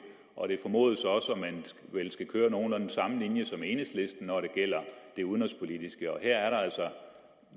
og det formodes også at man vel skal køre nogenlunde den samme linje som enhedslisten når det gælder det udenrigspolitiske og her kommer der altså